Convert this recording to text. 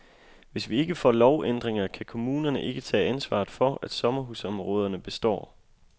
Hvis vi ikke får lovændringer, kan kommunerne ikke tage ansvaret for, at sommerhusområderne består.